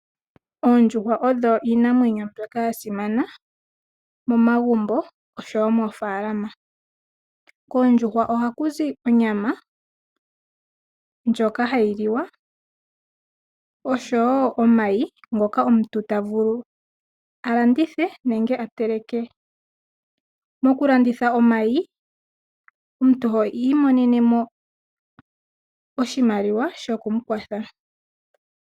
Oondjuhwa odho iinamwenyo mbyoka yasimana momagumbo oshowo mofaalama. Koondjuhwa ohakuzi onyama ndjoka hayiliwa oshowoo omayi ngoka omuntu tavulu alandithe nenge ateleke. Mokulanditha omayi omuntu oho imonenemo oshimaliwa shokumukwatha.